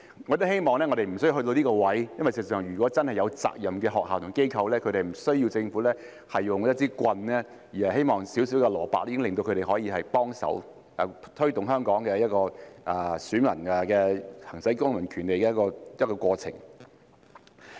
我亦希望不需要走到這一步，因為事實上，如果真的是負責任的學校和機構，它們是不需要政府使用一支棍的，而是小小的蘿蔔已可令他們幫忙推動香港的選民行使公民權利的過程。